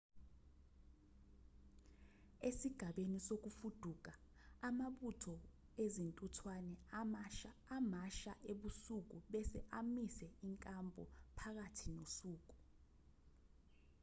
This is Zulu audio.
esigabeni sokufuduka amabutho ezintuthwane amasha ebusuku bese amise inkampu phakathi nosuku